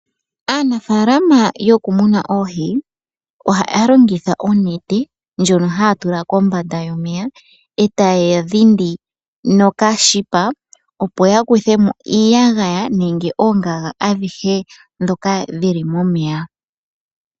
Aanafaalama yoku muna oohi, ohaya longitha onete ndjono haya tula kombanda yomeya, eta ya dhindi nokashipa, opo ya kuthemo iiyagaya nenge oongaga adhihe ndhoka dhili momeya.